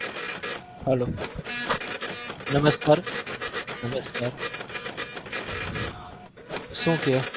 hello નમસ્કાર નમસ્કાર શું કહે?